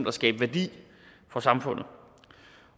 at skabe værdi for samfundet